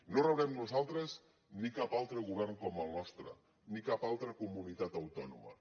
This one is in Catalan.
no rebrem nosaltres ni cap altre govern com el nostre ni cap altra comunitat autònoma